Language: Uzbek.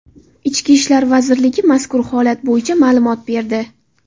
Ichki ishlar vazirligi mazkur holat bo‘yicha ma’lumot berdi .